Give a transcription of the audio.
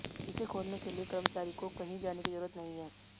इसे खोलने के लिए कर्मचारी को कहीं जाने की जरूरत नहीं है